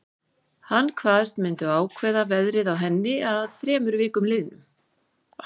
Hann kvaðst myndu ákveða verðið á henni að þremur vikum liðnum.